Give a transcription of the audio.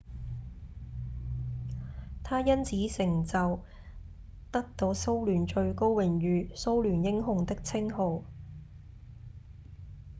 他因此成就得到蘇聯最高榮譽「蘇聯英雄」的稱號